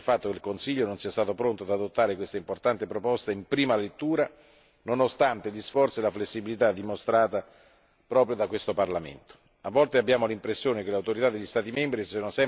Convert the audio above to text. Tuttavia, non posso non esprimere il mio rammarico rispetto al fatto che il Consiglio non sia stato pronto ad adottare questa importante proposta in prima lettura, nonostante gli sforzi e la flessibilità dimostrata proprio da questo Parlamento.